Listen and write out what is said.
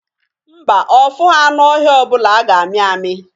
Mba, ọ fụghọ anụ ọhịa ọbụla a ga-amị amị